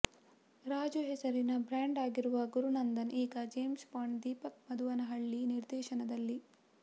ರಾಜು ಹೆಸರಿಗೆ ಬ್ರಾಂಡ್ ಆಗಿರುವ ಗುರುನಂದನ್ ಈಗ ಜೇಮ್ಸ್ ಬಾಂಡ್ ದೀಪಕ್ ಮಧುವನಹಳ್ಳಿ ನಿರ್ದೇಶನದಲ್ಲಿ